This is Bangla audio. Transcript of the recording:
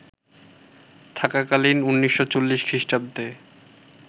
থাকাকালীন ১৯৪০ খ্রিস্টাব্দে